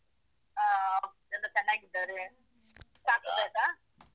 ಹಾ ಎಲ್ರು ಚೆನ್ನಾಗಿದ್ದಾರೆ ಚಾ ಕುಡ್ದಾಯ್ತಾ?